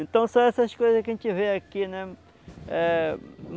Então, são essas coisas que a gente vê aqui, né? Eh